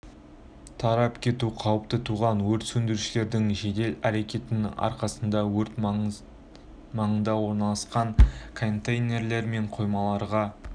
тарап кету қаупі туған өрт сөндірушілердің жедел әрекетінің арқасында өрт маңында орналасқан контейнерлер мен қоймаларға